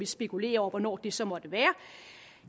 spekulere over hvornår det så måtte være